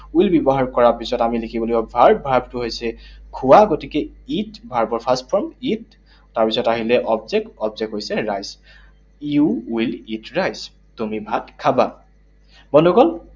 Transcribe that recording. Will ব্যৱহাৰ কৰা পিছত আমি দেখিব লাগিব verb, verb টো হৈছে খোৱা। গতিকে eat, verb ৰ first form eat, তাৰপিছত আহিলে object, object হৈছে rice. You will eat rice, তুমি ভাত খাবা। বন্ধুসকল